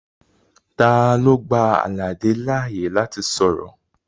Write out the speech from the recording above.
Talo gba Alade laaye lati sọrọ?